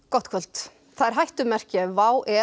gott kvöld það er hættumerki ef